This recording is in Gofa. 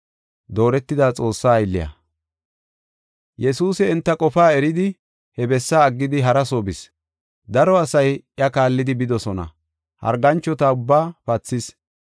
Yesuusi enta qofaa eridi he bessaa aggidi hara soo bis. Daro asay iya kaallidi bidosona, harganchota ubbaa pathis.